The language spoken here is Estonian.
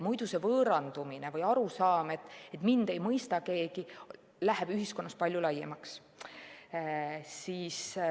Muidu see võõrandumine või arusaam, et mind ei mõista keegi, läheb ühiskonnas palju laiemaks.